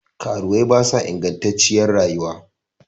Karuwai ba sa ingattaciyar rayuwa